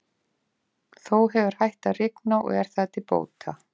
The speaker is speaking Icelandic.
Þó hefur hætt að rigna og er það til bóta.